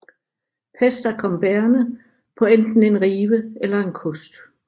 Pesta kom bærende på enten en rive eller en kost